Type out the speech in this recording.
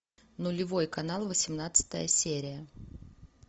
нулевой канал восемнадцатая серия